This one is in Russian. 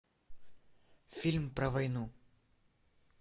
фильм про войну